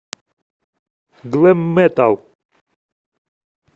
глэм метал